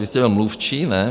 Vy jste byl mluvčí, ne?